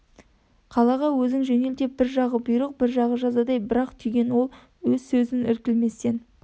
қалаға өзің жөнел деп бір жағы бұйрық бір жағы жазадай бір-ақ түйген ол өз сөзін іркілместен